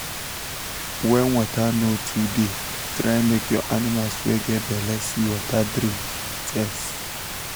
when water no tooo dey try make your animals wey get belle see water drink fes